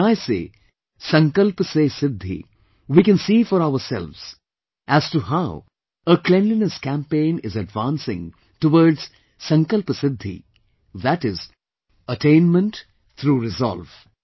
And when I say "Sankalp Se Siddhi", we can see for ourselves as to how a Cleanliness Campagin is advancing towards Sankalp Siddhi, that is Attainment through Reslove